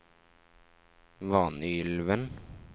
Vanylven